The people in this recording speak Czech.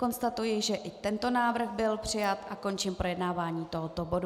Konstatuji, že i tento návrh byl přijat, a končím projednávání tohoto bodu.